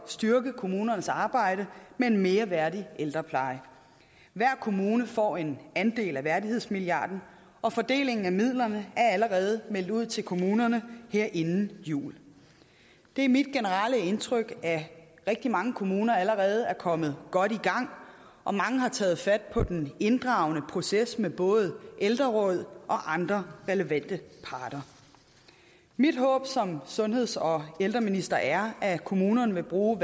styrke kommunernes arbejde med en mere værdig ældrepleje hver kommune får en andel af værdighedsmilliarden og fordelingen af midlerne er allerede meldt ud til kommunerne her inden jul det er mit generelle indtryk at rigtig mange kommuner allerede er kommet godt i gang og mange har taget fat på den inddragende proces med både ældreråd og andre relevante parter mit håb som sundheds og ældreminister er at kommunerne vil bruge